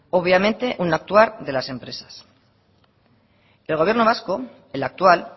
obviamente un actuar de las empresas el gobierno vasco el actual